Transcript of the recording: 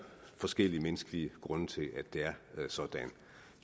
forskellige menneskelige grunde til at det er sådan